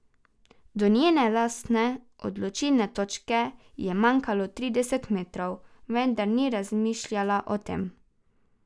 Do njene lastne odločilne točke je manjkalo trideset metrov, vendar ni razmišljala o tem.